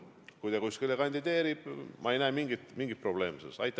Kui ta kuskile kandideerib, siis ma ei näe selles mingit probleemi.